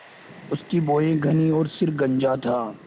उसकी भौहें घनी और सिर गंजा था